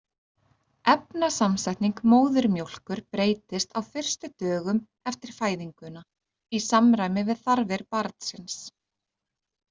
Efnasamsetning móðurmjólkur breytist á fyrstu dögum eftir fæðinguna í samræmi við þarfir barnsins.